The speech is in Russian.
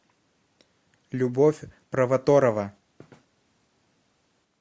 любовь провоторова